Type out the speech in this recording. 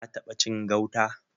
Ka taɓa cin gauta?